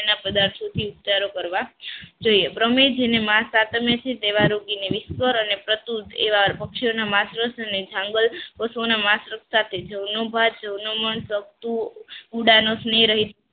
એના પદાર્થોથી ઉપચારો કરવા જોઈએ પણ અમે જેને વિશ્વાસ અને પ્રતૂર એવા પક્ષીઓના માસ રસ અને જંગલ પશુઓના માસ સાથે જવનો ભાત જવાનો મન મળતું ઉડાનો સ્નેહરહિત